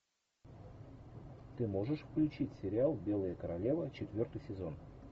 ты можешь включить сериал белая королева четвертый сезон